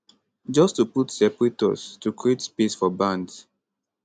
just to put separators to create space for bands